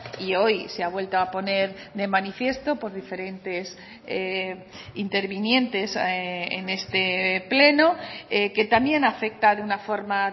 y hoy se ha vuelto a poner de manifiesto por diferentes intervinientes en este pleno que también afecta de una forma